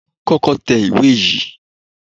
Kọ́kọ́ tẹ ìwé yìí!